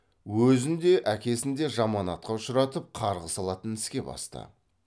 өзін де әкесін де жаман атқа ұшыратып қарғыс алатын іске басты